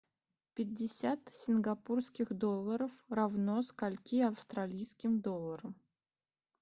пятьдесят сингапурских долларов равно скольки австралийским долларам